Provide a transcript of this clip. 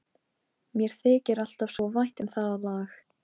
Mér þykir alltaf svo vænt um það lag.